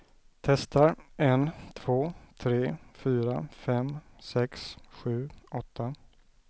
Testar en två tre fyra fem sex sju åtta.